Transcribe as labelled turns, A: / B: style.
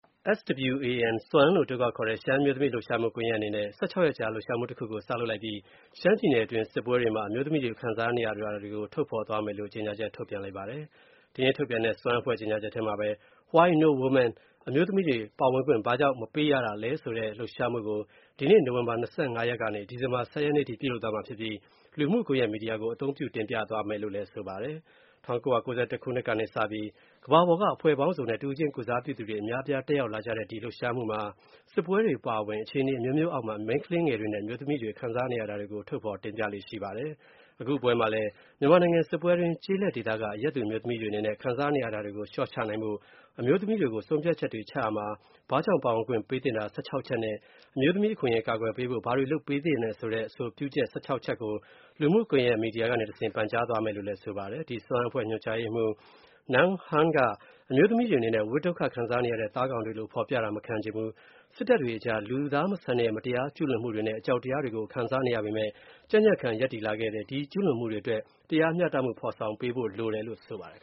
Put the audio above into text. A: SWAN လို့အတိုခေါက်ခေါ်တဲ့ ရှမ်းအမျိူးသမီး လှုပ်ရှားမှုကွန်ယက်အနေနဲ့ (၁၆) ရက်ကြာ လှုပ်ရှားမူတခု စလုပ်လိုက်ပြီး ရှမ်းပြည်နယ်တွင်း စစ်ပွဲတွေမှာ အမျိုးသမီးတွေ ခံစားနေရတာတွေကို ထုတ်ဖော်သွားမယ်လို့ ကြေညာချက်ထုတ်လိုက်ပါတယ်။ ဒီနေ့ ထုတ်ပြန်တဲ့ SWAN အဖွဲ့ရဲ့ကြေညာချက်ထဲမှာ Why No Women “အမျိုးသမီးတွေ ပါဝင်ခွင့်ဘာကြောင့် မပေးရတာလဲ” လို့ ဆိုတဲ့ ဒီလှုပ်ရှားမှုကို ဒီနေ့ နိုဝင်ဘာ (၂၅) ကနေ ဒီဇင်ဘာ (၁၀) ရက်အထိ ပြုလုပ်သွားပြီး လူမှုကွန်ယက်မီဒီယာကို အသုံးပြုတင်ပြသွားမယ်လို ဆိုပါတယ်။ ၁၉၉၁ ခုနှစ်ကနေစပြီး ကမ္ဘာပေါ်က အဖွဲ့ပေါင်းစုံနဲ့ တဦးချင်းကိုယ်စားပြုသူတွေ အများအပြား တက်ရောက် လာကြတဲ့ ဒီ လှုပ်ရှားမှုမှာ စစ်ပွဲတွေအပါအဝင် အခြေအနေ အမျိုးမျိုးအောက်မှာ မိန်းကလေးငယ်တွေနဲ့ အမျိုးသမီးတွေ ခံစားနေရတာတွေကို ထုတ်ဖော်တင်ပြလေ့ရှိပါတယ်။ အခု ပွဲမှာလည်း မြန်မာနိုင်ငံစစ်ပွဲတွင်း ကျေးလက်ဒေသက အရပ်သူအမျိုးသမီးတွေအနေနဲ့ ခံစားနေရတာ တွေကို လျော့ချနိုင်ဖို့ အမျိုးသမီးတွေကို ဆုံးဖြတ်ချက်တွေချရာမှာ ဘာကြောင့်ပါဝင်ခွင့်ပေးသင့်တာ (၁၆) ချက် နဲ့ အမျိုးသမီးအခွင့်အရေးကာကွယ်ပေးဖို့ ဘာတွေလုပ်ပေးသင့်တဲ့ အဆိုပြုချက် (၁၆) ချက်ကို လူမှု ကွန်ယက် မီဒီယာကနေတဆင့် ပန်ကြားသွားမယ်လို့ ဆိုပါတယ်။ ဒီ SWAN အဖွဲ့ ညွန်ကြားရေးမှူး Nang Hearn က အမျိုးသမီးတွေအနေနဲ့ ဝဋ်ဒုက္ခခံစားရတဲ့ သားကောင်တွေလို ဖော်ပြတာမခံချင်ဘူး၊ စစ်တပ်တွေအကြားမှာ လူမဆန်တဲ့မတရားကျူးလွန်မှုတွေနဲ့ အကြောက်တရားတွေ ခံစား နေရပေမဲ့ ကြံ့ကြံ့ခံ ရပ်တည်လာခဲ့တယ်၊ ဒီကျူးလွန်မှုတွေအတွက် တရားမျှတမှုဖော်ဆောင်ပေးဖို့
B: တောင်းဆိုလို တယ်လို့ ဆိုပါတယ်